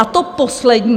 A to poslední.